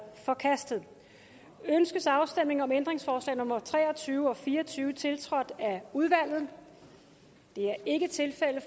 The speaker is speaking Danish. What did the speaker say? forkastet ønskes afstemning om ændringsforslag nummer tre og tyve og fire og tyve tiltrådt af udvalget det er ikke tilfældet